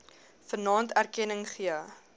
vanaand erkenning gegee